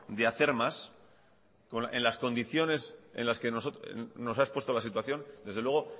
de hacer más en las condiciones en las que nos ha expuesto la situación desde luego